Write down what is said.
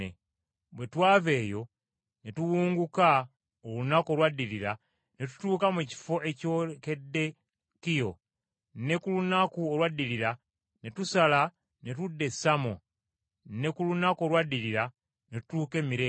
Bwe twava eyo ne tuwunguka olunaku olwaddirira ne tutuuka mu kifo ekyolekedde Kiyo. Ne ku lunaku olwaddirira ne tusala ne tudda e Samo, ne ku lunaku olwaddirira ne tutuuka e Mireeto.